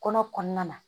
Kɔnɔ kɔnɔna na